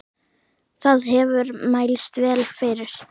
Það hefur mælst vel fyrir.